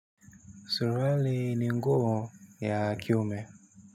Suruali ni nguo ya kiume.